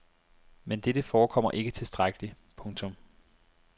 Men dette forekommer ikke tilstrækkeligt. punktum